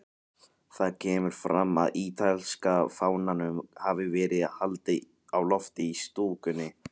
Þar kemur fram að ítalska fánanum hafi verið haldið á lofti í stúkunni.